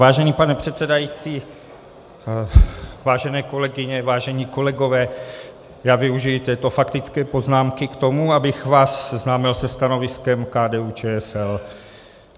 Vážený pane předsedající, vážené kolegyně, vážení kolegové, já využiji této faktické poznámky k tomu, abych vás seznámil se stanoviskem KDU-ČSL.